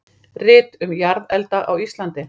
Rit um jarðelda á Íslandi.